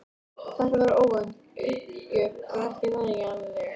Þetta var óvænt uppgjöf en ekki nægjanleg.